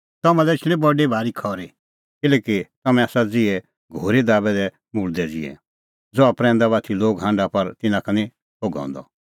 तम्हां लै एछणी बडी भारी खरी किल्हैकि तम्हैं आसा ज़िहै घोरी दाबै दै मुल्दै ज़िहै ज़हा प्रैंदा बाती लोग हांढा पर तिन्नां का निं थोघ हंदअ